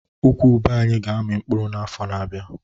Ukwu ube anyị ga-amị n'afọ na-abịa